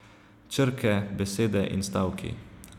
Črke, besede in stavki.